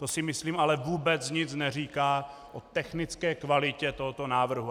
To si myslím ale vůbec nic neříká o technické kvalitě tohoto návrhu.